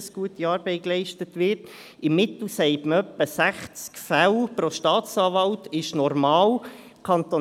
Man sagt, dass im Mittel etwa 60 Fälle pro Staatsanwalt normal sind.